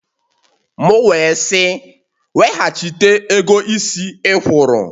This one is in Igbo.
M wee sị, Weghachite ego isi ikwụrụ!